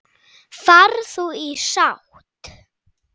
Far þú í sátt.